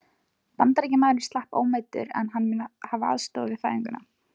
Bandaríkjamaðurinn slapp ómeiddur, en hann mun hafa aðstoðað við fæðinguna.